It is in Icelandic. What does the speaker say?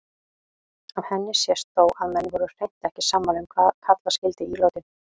Af henni sést þó að menn voru hreint ekki sammála um hvað kalla skyldi ílátin.